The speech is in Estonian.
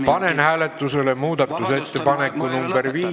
Panen hääletusele muudatusettepaneku nr 5 ...